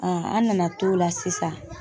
an nana t'o la sisan.